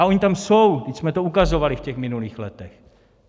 A ony tam jsou, vždyť jsme to ukazovali v těch minulých letech.